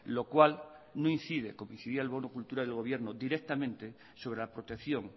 lo cual no incide como incidía el bono cultura del gobierno directamente sobre la protección